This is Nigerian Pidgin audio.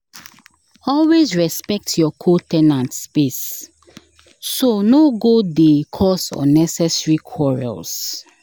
Always respect your co- ten ant space, so no go dey cause unnecessary quarrels.